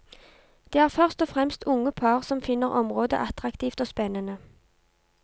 Det er først og fremst unge par som finner området attraktivt og spennende.